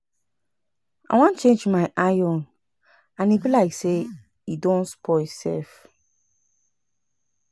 I wan change my iron and e be like say e don spoil sef